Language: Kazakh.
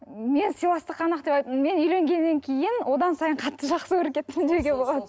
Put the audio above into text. мен сыйластық қана мен үйленгеннен кейін одан сайын қатты жақсы көріп кеттім деуге болады